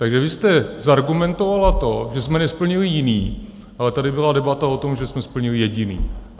Takže vy jste zargumentovala to, že jsme nesplnili jiný, ale tady byla debata o tom, že jsme splnili jediný.